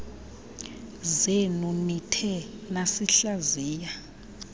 zenu nithe nasihlaziya